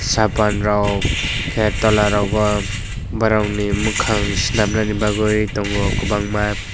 sapan rok ke tola rok bo borok ni mokang se nam nanai bagoi tongo kobangma.